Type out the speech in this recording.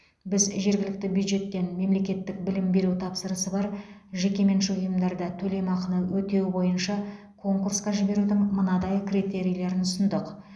біз жергілікті бюджеттен мемлекеттік білім беру тапсырысы бар жекеменшік ұйымдарда төлемақыны өтеу бойынша конкурсқа жіберудің мынадай критерийлерін ұсындық